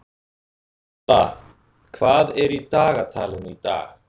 Alla, hvað er í dagatalinu í dag?